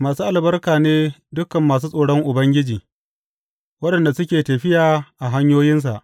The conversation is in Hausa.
Masu albarka ne dukan masu tsoron Ubangiji, waɗanda suke tafiya a hanyoyinsa.